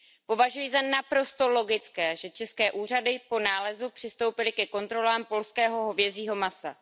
Považuji za naprosto logické, že české úřady po nálezu přistoupily ke kontrolám polského hovězího masa.